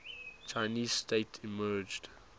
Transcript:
chinese state emerged